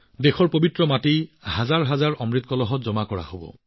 দেশৰ পবিত্ৰ মাটি হাজাৰ হাজাৰ অমৃতৰ কলহত জমা হব